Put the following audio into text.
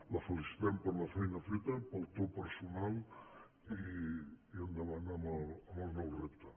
la felicitem per la feina feta pel to personal i endavant amb el nou repte